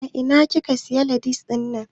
A ina kika siya latas dinnan?